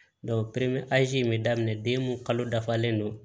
in bɛ daminɛ den mun kalo dafalen don